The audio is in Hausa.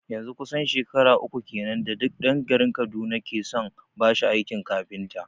Yanzun kusan shekara uku kenan da duk dan garin kaduna ke son bashi aikin kafinta